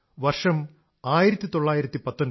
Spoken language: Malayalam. വർഷം 1919